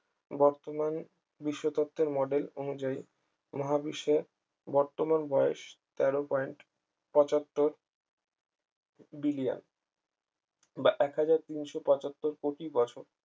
বর্তমান বিশ্বতত্ত্বের model অনুযায়ী মহাবিশ্বের বর্তমান বয়স তেরো point পঁচাত্তর বিলিয়ন বা এক হাজার তিনশো পঁচাত্তর কোটি বছর